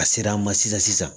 A sera an ma sisan sisan